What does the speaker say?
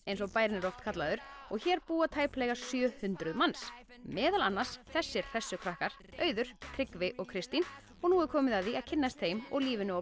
eins og bærinn er oft kallaður og hér búa tæplega sjö hundruð manns meðal annars þessir krakkar auður Tryggvi og Kristín og nú er komið að því að kynnast þeim og lífinu á